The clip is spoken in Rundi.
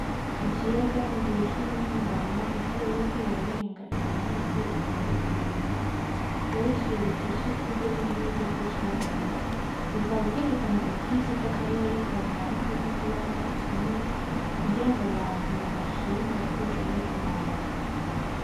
Ikiyaga mu gihe c'umuhingamo izuba ririko rirarenga inyuma y'imisozi itandukanye coba ari icibutso c'ituze n'ubwiza bw'icaremwe bikaba vyerekana ubwiza bw'akarere kanaka k'ikiyaga kinini kugirango abantu bahashime bazoshobore kuhaza.